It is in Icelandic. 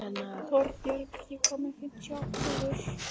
Torbjörg, ég kom með fimmtíu og átta húfur!